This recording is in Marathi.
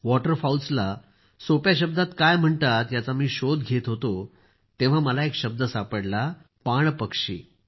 वॉटरफॉउल्सला सोप्या शब्दात काय म्हणतात याचा मी शोध घेत होतो तेव्हा मला एक शब्द सापडला पाणपक्षी